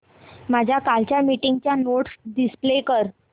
माझ्या कालच्या मीटिंगच्या नोट्स डिस्प्ले कर